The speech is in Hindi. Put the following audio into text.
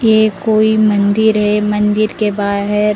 ये कोई मंदिर है मंदिर के बाहर--